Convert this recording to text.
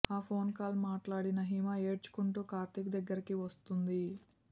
ఆ phone call మాట్లాడిన హిమ ఏడ్చుకుంటూ కార్తీక్ దగ్గరకి వస్తుంది